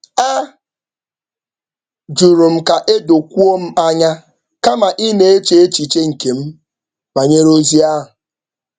A jụrụ m ka e dokwuo m anya kama ị na-eche echiche nke m banyere ozi ahụ